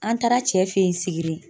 An taara cɛ fe yen Sigiri